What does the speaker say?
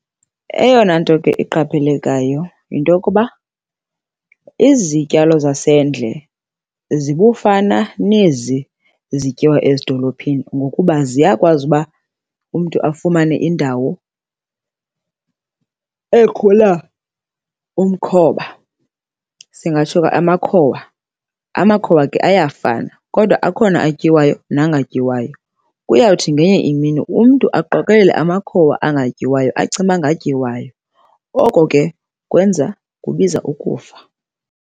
Eyona nto ke iqaphelekayo yinto yokuba izityalo zasendle zibufana nezi zityiwa ezidolophini ngokuba ziyakwazi uba umntu afumane indawo ekhula umkhoba, singatsho ke amakhowa. Amakhowa ke ayafana kodwa akhona atyiwayo nangatyiwayo. Kuyawuthi ngenye imini umntu aqokelele amakhowa angatyiwayo acinge uba ngatyiwayo, oko ke kwenza kubiza ukufa.